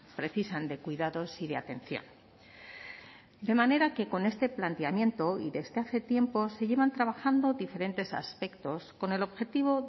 precisan de cuidados y de atención de manera que con este planteamiento y desde hace tiempo se llevan trabajando diferentes aspectos con el objetivo